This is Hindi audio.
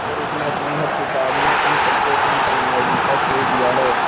और उसने अपनी हर किताब में उन सबको अपनी कामयाबी का श्रेय दिया है